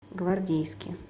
гвардейске